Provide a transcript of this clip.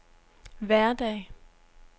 hverdag